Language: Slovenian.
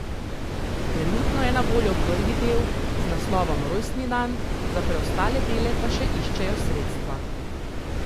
Trenutno je na voljo prvi del z naslovom Rojstni dan, za preostale dele pa še iščejo sredstva.